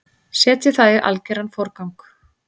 Setjið það í algeran forgang.